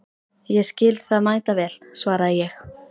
Ég skil það mæta vel, svaraði ég.